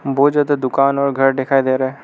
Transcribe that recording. बहोत ज्यादा दुकान और घर दिखाई दे रहे हैं।